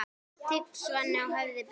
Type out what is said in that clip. Tigin svanni á höfði ber.